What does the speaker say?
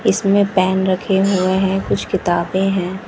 इसमें पेन रखे हुए हैं कुछ किताबें हैं।